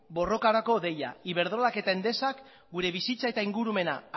borrokarako deia iberdrolak eta endesak gure bizitza eta ingurumena